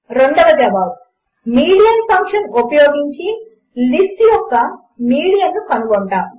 4 మనము median function ఉపయోగించి list యొక్క మీడియన్ కనుగొంటాము